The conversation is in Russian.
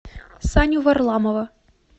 саню варламова